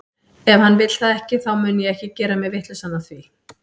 Ef hann vill það ekki, þá mun ég ekki gera mig vitlausan af því.